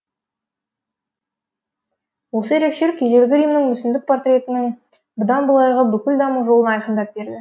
осы ерекшелік ежелгі римнің мүсіндік портретінің бұдан былайғы бүкіл даму жолын айқындап берді